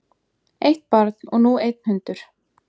Eitt barn og nú einn hundur